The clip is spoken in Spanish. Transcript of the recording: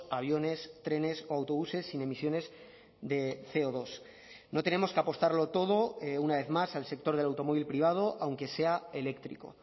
aviones trenes o autobuses sin emisiones de ce o dos no tenemos que apostarlo todo una vez más al sector del automóvil privado aunque sea eléctrico